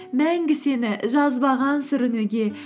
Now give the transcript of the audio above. мәңгі сені жазбаған сүрінуге